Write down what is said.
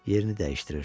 Yerini dəyişdirir.